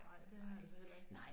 Ej det har jeg altså heller ikke